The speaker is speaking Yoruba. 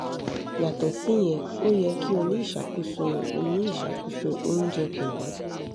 yàtọ̀ síyẹn ó yẹ kí o ní ìṣàkóso o ní ìṣàkóso oúnjẹ pẹ̀lú